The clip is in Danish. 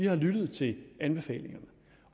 har lyttet til anbefalingerne